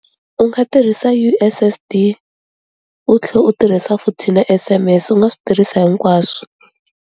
U nga tirhisa U_S_S_D u tlhela u tirhisa futhi na S_M_S u nga swi tirhisa hinkwaswo.